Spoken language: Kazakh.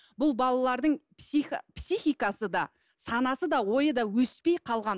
бұл балалардың психикасы да санасы да ойы да өспей қалған